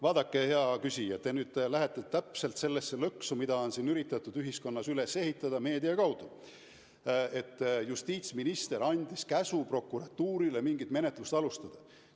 Vaadake, hea küsija, te nüüd astusite täpselt sellesse lõksu, mida on ühiskonnas üritatud meedia kaudu üles panna: et justiitsminister andis prokuratuurile käsu mingit menetlust alustada.